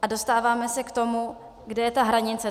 A dostáváme se k tomu, kde je ta hranice.